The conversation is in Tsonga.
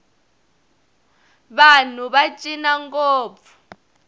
vanhu va cina ngopfu